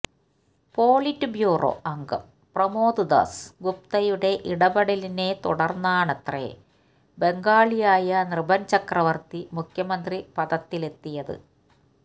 politburo അംഗം പ്രമോദ് ദാസ് ഗുപ്തയുടെ ഇടപെടലിനെത്തുടർന്നാണത്രേ ബംഗാളിയായ നൃപൻ ചക്രവർത്തി മുഖ്യമന്ത്രിപദത്തിലെത്തിയത്